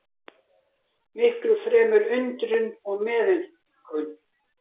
Miklu fremur undrun og meðaumkun.